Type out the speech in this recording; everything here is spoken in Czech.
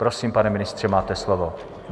Prosím, pane ministře, máte slovo.